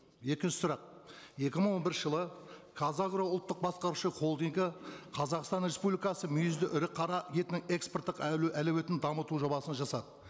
екінші сұрақ екі мың он бірінші жылы қазагро ұлттық басқарушы холдингі қазақстан республикасы мүйізді ірі қара етін экспорттық әлеуетін дамыту жобасын жасады